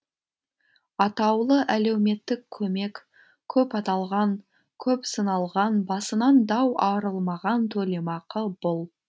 атаулы әлеуметтік көмек көп аталған көп сыналған басынан дау арылмаған төлемақы бұл